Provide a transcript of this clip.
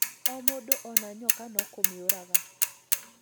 O mũndũ ona nyoka no kũmĩũraga